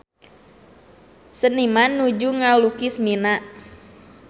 Seniman nuju ngalukis Mina